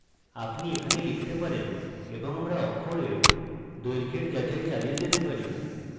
আপনি এখানে লিখতে পারেন এবং আমরা অক্ষরের দৈর্ঘ্যের যাচাই চালিয়ে যেতে পারি